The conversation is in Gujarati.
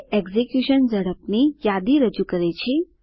તે એક્ઝીક્યુશન ઝડપની યાદી રજૂ કરે છે